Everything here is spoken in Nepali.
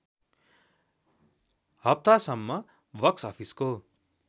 हप्तासम्म बक्सअफिसको